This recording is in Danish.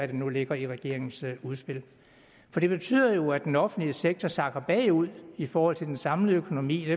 det nu ligger i regeringens udspil for det betyder jo at den offentlige sektor sakker bagud i forhold til den samlede økonomi